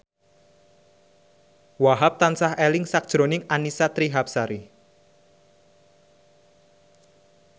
Wahhab tansah eling sakjroning Annisa Trihapsari